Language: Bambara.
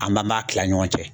An m'a ma kila ɲɔgɔn cɛ.